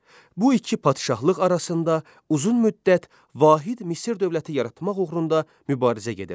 Bu iki padşahlıq arasında uzun müddət vahid Misir dövləti yaratmaq uğrunda mübarizə gedirdi.